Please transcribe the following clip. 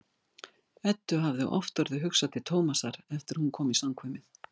Eddu hefur oft orðið hugsað til Tómasar eftir að hún kom í samkvæmið.